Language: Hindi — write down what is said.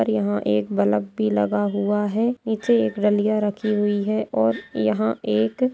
-- और यहा एक बलब भी लगा हुआ है नीचे एक रलिया रखी हुई है और यहा एक--